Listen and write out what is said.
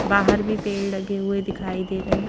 बाहर भी पेड़ लगे हुए दिखाई दे रहे।